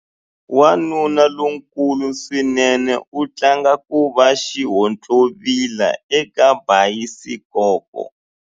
Wanuna lonkulu swinene u tlanga ku va xihontlovila eka bayisikopo.